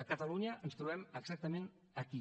a catalunya ens trobem exactament aquí